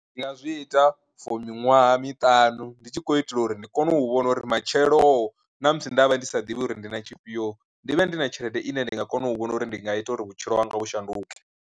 Ndi nga zwi ita for miṅwaha miṱanu ndi tshi khou itela uri ndi kone u vhona uri matshelo ṋamusi ndavha ndi sa ḓivhi uri ndi na tshifhio ndi vhe ndi na tshelede ine ndi nga kona u vhona uri ndi nga ita uri vhutshilo hanga vhu shanduke.